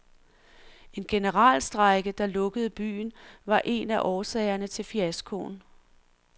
En generalstrejke, der lukkede byen, var en af årsagerne til fiaskoen.